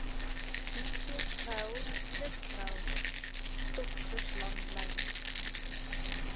diepseetreil kustreil stokvislanglyn